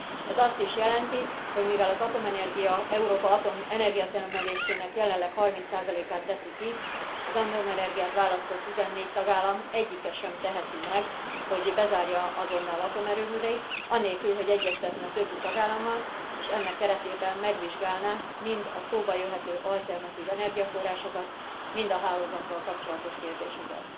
Ez azt is jelenti, hogy mivel az atomenergia Európa energiatermelésének jelenleg 30 át teszi ki, az atomenergiát választó 14 tagállam egyike sem teheti meg, hogy bezárja azonnal atomerőműveit anélkül, hogy egyeztetne a többi tagállammal, és ennek keretében megvizsgálná mind a szóba jöhető alternatív energiaforrásokat, mind a hálózattal kapcsolatos kérdéseket.